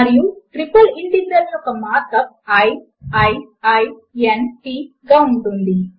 మరియు triple integral యొక్క mark up i i i n t గా ఉన్నది